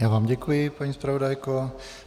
Já vám děkuji, paní zpravodajko.